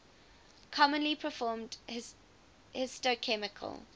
commonly performed histochemical